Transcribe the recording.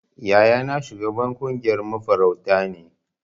Yayana shugaban kungiyar mafarauta ne.